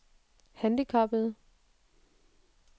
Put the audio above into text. handicappede